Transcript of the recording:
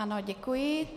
Ano, děkuji.